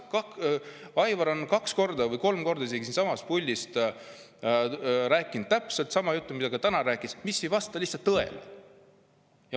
Aivar on kaks või isegi kolm korda siit puldist rääkinud täpselt sama juttu, mida ta ka täna rääkis ja mis ei vasta lihtsalt tõele.